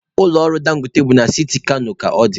Ụlọ ọrụ Dangote bụ na siti Kano ka ọ dị.